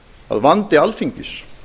að vandi alþingis